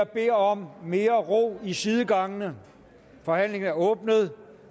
beder om mere ro i sidegangene forhandlingen er åbnet